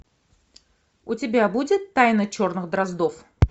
у тебя будет тайна черных дроздов